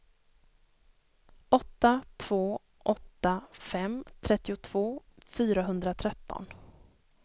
åtta två åtta fem trettiotvå fyrahundratretton